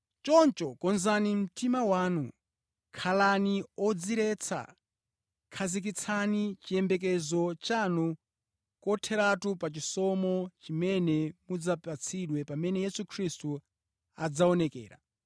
Choncho konzani mtima wanu, khalani odziretsa; khazikitsani chiyembekezo chanu kotheratu pa chisomo chimene mudzapatsidwe pamene Yesu Khristu adzaonekera.